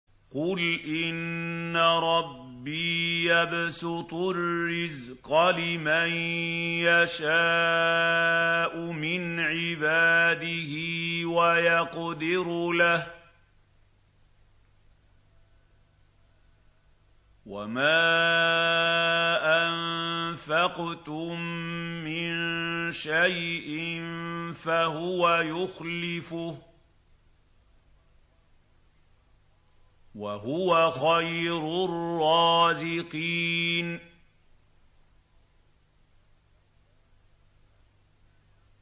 قُلْ إِنَّ رَبِّي يَبْسُطُ الرِّزْقَ لِمَن يَشَاءُ مِنْ عِبَادِهِ وَيَقْدِرُ لَهُ ۚ وَمَا أَنفَقْتُم مِّن شَيْءٍ فَهُوَ يُخْلِفُهُ ۖ وَهُوَ خَيْرُ الرَّازِقِينَ